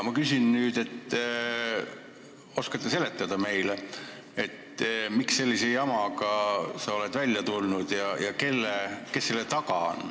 Ma küsin nüüd, et kas sa oskad meile seletada, miks sa sellise jamaga oled välja tulnud ja kes selle taga on.